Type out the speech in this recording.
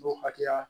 N'o hakɛya